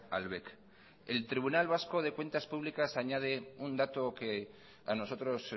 al bec el tribunal vasco de cuentas públicas añade un dato que a nosotros